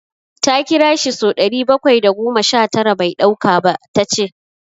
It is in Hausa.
Ta kira shi ya fi so ɗari bakwai da goma sha tara bai ɗauka ba, Ta ce.